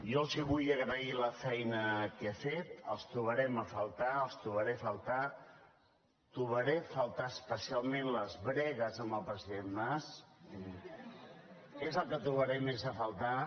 jo els vull agrair la feina que he fet els trobarem a faltar els trobaré a faltar trobaré a faltar especialment les bregues amb el president mas és el que trobaré més a faltar